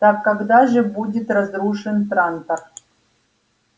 так когда же будет разрушен трантор